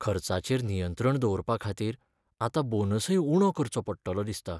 खर्चाचेर नियंत्रण दवरपाखातीर आतां बोनसय उणो करचो पडटलो दिसता.